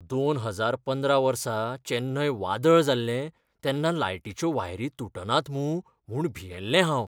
दोन हजार पंदरा वर्सा चेन्नय वादळ जाल्लें तेन्ना लायटीच्यो वायरी तुटनात मूं म्हूण भियेल्लें हांव.